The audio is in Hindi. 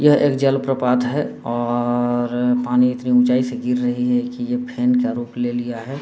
यह एक जल प्रपात है और पानी इतनी उच्चाई से गिर रही है कि ये फेन का रूप ले लिया है।